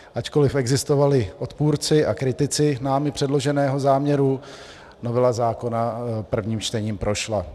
Ačkoliv existovali odpůrci a kritici námi předloženého záměru, novela zákona prvním čtením prošla.